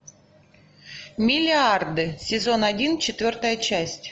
миллиарды сезон один четвертая часть